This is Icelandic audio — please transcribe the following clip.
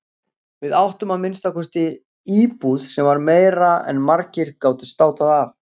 Við áttum að minnsta kosti íbúð sem var meira en margir gátu státað af.